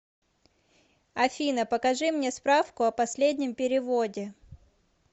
афина покажи мне справку о последнем переводе